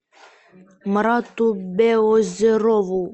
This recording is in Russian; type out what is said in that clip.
марату белозерову